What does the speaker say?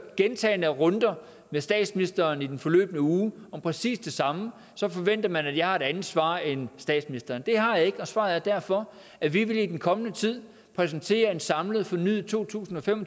gentagne runder med statsministeren i den forløbne uge om præcis det samme forventer at jeg har et andet svar end statsministeren det har jeg ikke og svaret er derfor at vi i den kommende tid vil præsentere en samlet fornyet to tusind og fem og